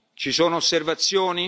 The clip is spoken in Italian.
primo scrutinio. Ci sono